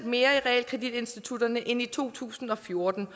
mere i realkreditinstitutterne end i to tusind og fjorten